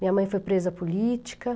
Minha mãe foi presa política.